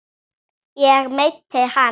ég meinti hinn.